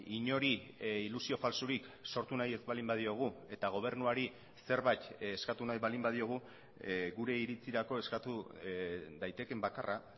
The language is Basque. inori ilusio faltsurik sortu nahi ez baldin badiogu eta gobernuari zerbait eskatu nahi baldin badiogu gure iritzirako eskatu daitekeen bakarra